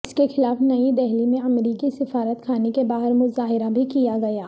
اس کے خلاف نئی دہلی میں امریکی سفارت خانے کے باہر مظاہرہ بھی کیا گیا